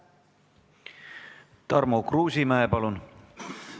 Tarmo Kruusimäe, palun!